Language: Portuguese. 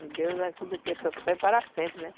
E Deus ajuda aqui até para sempre, né?